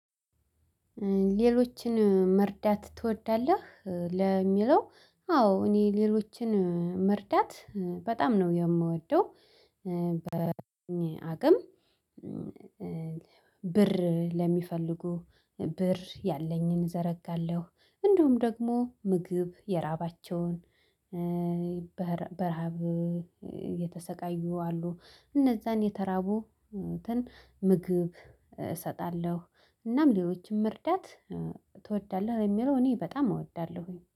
ሌሎችን መርዳት ትወዳለህ? ለሚለው አዎ እኔ ሌሎችን መርዳት በጣም ነው የምወደው። በእኔ አቅም ብር ለሚፈልጉ ብር ያለኝን እዘረጋለሁ። እንደውም ደግሞ ምግብ የራባቸውን በረሃብ እየተሰቃዩ አሉ እነዛን የተራቡትን ምግብ እሰጣለሁ። እናም ሌሎችን መርዳት ትወዳለህ? ለሚለው እኔ በጣም እወዳለሁኝ